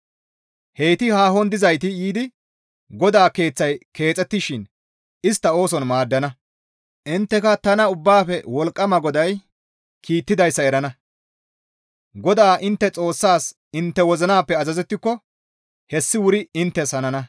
Heyti haahon dizayti yiidi GODAA Keeththay keexettishin istta ooson maaddana; intteka tana Ubbaafe Wolqqama GODAY kiittidayssa erana. GODAA intte Xoossaas intte wozinappe azazettiko hessi wuri inttes hanana.